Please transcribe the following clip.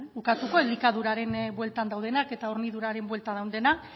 ukatuko elikaduraren bueltan daudenak eta horniduraren bueltan dauden